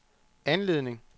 anledning